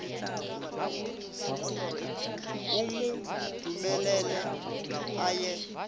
o mo dumelele a ye